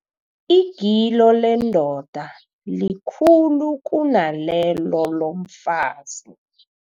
Igilo lendoda likhulu kunalelo lomfazi.